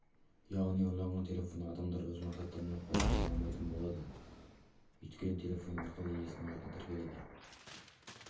яғни ұрланған телефонды адамдар өз мақсаттарына пайдалана алмайтын болады өйткені телефон арқылы иесінің атына тіркеледі